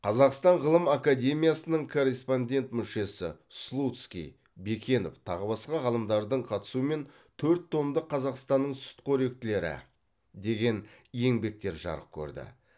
қазақстан ғылым академиясының корреспондент мүшесі слудский бекенов тағы басқа ғалымдардың қатысуымен төрт томдық қазақстанның сүтқоректілері деген еңбектер жарық көрді